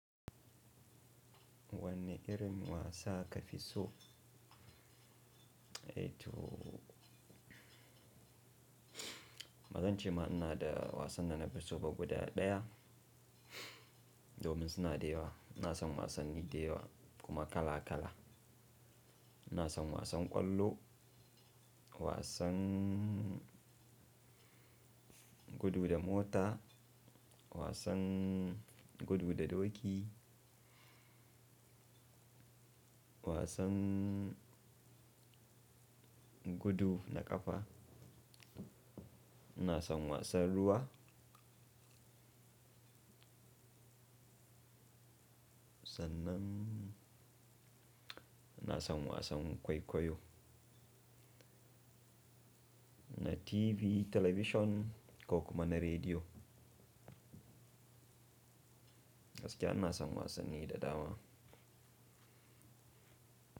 Wanne irin wasa ka fi so? Eh to bazan ce ma ina da wasan da na fi so ba guda ɗaya, domin suna da yawa. Ina son wasanni da yawa kuma kala kala. Ina son wasan ƙwallo, wasan gudu da mota, wasan gudu da doki, wasan gudu na ƙafa, ina son wasan ruwa. Sannan ina son wasan kwaikwayo na TV, talabishin ko kuma na rediyo. Gaskiya ina son wasanni da dama.